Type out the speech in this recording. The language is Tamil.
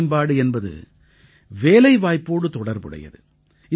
திறன்மேம்பாடு என்பது வேலைவாய்ப்போடு தொடர்புடையது